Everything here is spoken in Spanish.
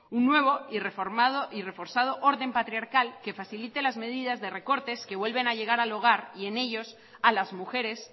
un nuevo y reforzado orden patriarcal que facilite las medidas de recortes que vuelven a llegar al hogar y en ellos a las mujeres